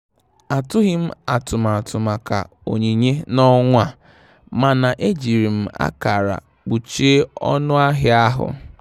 Atụghị m atụmatụ maka onyinye n'ọnwa a, mana ejiri m akara kpuchie ọnụ ahịa ahụ.